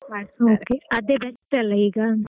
ಅದೇ best ಅಲ ಈಗ.